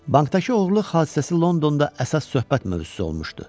Bankdakı oğurluq hadisəsi Londonda əsas söhbət mövzusu olmuşdu.